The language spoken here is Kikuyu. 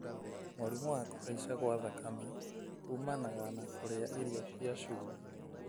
Mũrimũ wa kũhaica gwa thakame ũmanaga na kũrĩa irio cia cumbĩ.